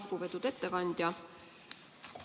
Lugupeetud ettekandja!